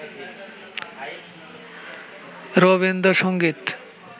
Rabindra Sangeet